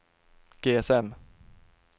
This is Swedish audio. GSM